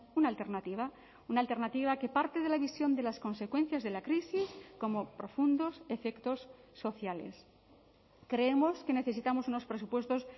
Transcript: una alternativa una alternativa que parte de la visión de las consecuencias de la crisis como profundos efectos sociales creemos que necesitamos unos presupuestos